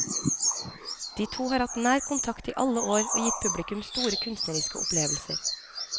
De to har hatt nær kontakt i alle år og gitt publikum store kunstneriske opplevelser.